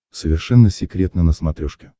совершенно секретно на смотрешке